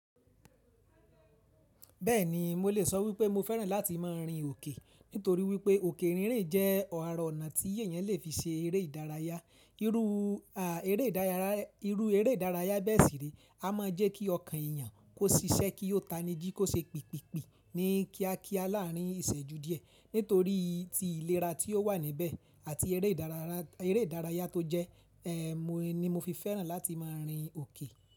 Bẹ́ẹ̀ni, mo lè sọ wípé mo fẹ́ràn láti máa rin òkè, nítorí wípé òkè rínrìn jẹ́ ara ọ̀nà tí èèyàn lè fi se eré ìdárayá. Irú eré ìdárayá bẹ́ẹ̀ sì rè a máa jẹ́ kí ọkàn èèyàn kó ṣiṣẹ́ kí ó tani jí kó ṣe pìpìpì ní kíákíá láàárín ìṣẹ́jú díẹ̀. Nítorí ti ìlera tí ó wà níbẹ̀ àti eré ìdárayá tó jẹ́ ẹ, mo ní mo fi fẹ́ràn láti máa rin òkè.